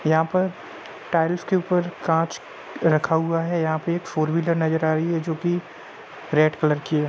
यहां पर टाइल्स के ऊपर कांच रखा हुआ है। यहां पर एक फोर व्हीलर नजर आ रही है जो कि रेड कलर की है।